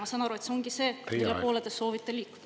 Ma saan aru, et see ongi see, mille poole te soovite liikuda.